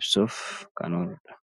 ibsuuf kan ooludha.